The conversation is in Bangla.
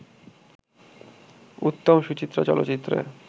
উত্তম-সুচিত্রা চলচ্চিত্রে